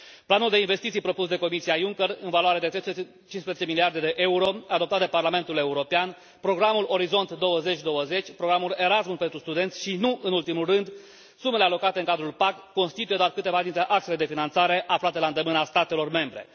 Planul de investiții propus de Comisia Juncker, în valoare de 315 miliarde de euro, adoptat de Parlamentul European, programul Orizont 2020, programul Erasmus pentru studenți și, nu în ultimul rând, sumele alocate în cadrul PAC, constituie doar câteva dintre axele de finanțare aflate la îndemâna statelor membre.